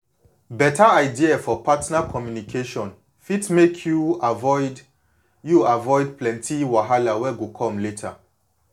beta idea for partner communication fit make you avoid you avoid plenty wahala wey go come later